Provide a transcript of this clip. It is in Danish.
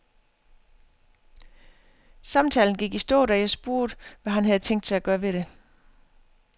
Samtalen gik i stå, da jeg spurgte, hvad han havde tænkt sig at gøre ved det.